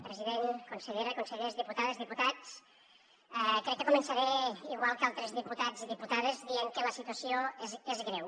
president consellera consellers diputades diputats crec que començaré igual que altres diputats i diputades dient que la situació és greu